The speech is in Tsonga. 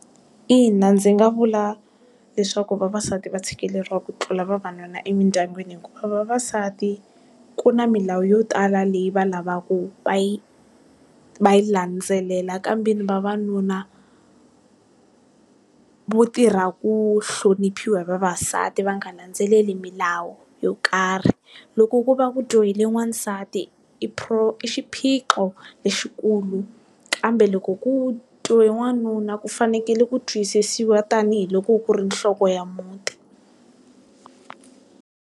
Ina ndzi nga vula, leswaku vavasati va tshikeleriwa ku tlula vavanuna emindyangwini hikuva vavasati, ku na milawu yo tala leyi va lavaku va yi, va yi landzelela kambe ni vavanuna vo tirha ku hloniphiwa hi vavasati va nga landzeleli milawu yo karhi. Loko ku va ku dyohile n'wansati, i i xiphiqo lexikulu. Kambe loko ku dyohe n'wanuna ku fanekele ku twisisiwa tanihiloko ku ri nhloko ya muti.